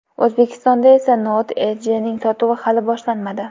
O‘zbekistonda esa Note Edge’ning sotuvi hali boshlanmadi.